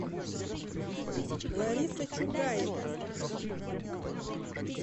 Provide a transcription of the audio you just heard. лариса чугаева